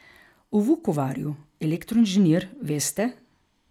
V Vukovarju elektroinženir, veste?